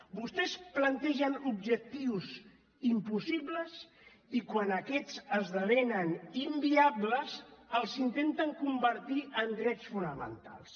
vostès plantegen objectius impossibles i quan aquests esdevenen inviables els intenten convertir en drets fonamentals